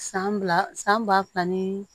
San ba san ba fila ni